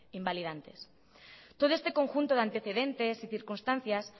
invalidantes todo este conjunto de antecedentes y circunstancias